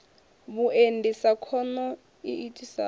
vhuendi sa khono i itisaho